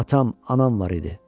Atam, anam var idi.